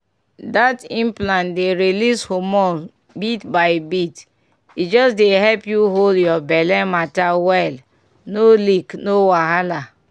that implant dey release hormone bit by bit e just dey help you hold your belle matter well no leak no wahala.